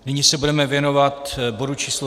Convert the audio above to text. Nyní se budeme věnovat bodu číslo